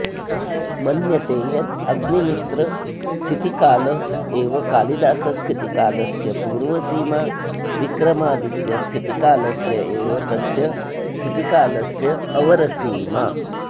मन्यते यदग्निमित्रस्थितिकाल एव कालिदासस्थितिकालस्य पूर्वसीमा विक्रमादित्यस्थितिकालस्य एव तस्य स्थितिकालस्यावरसीमा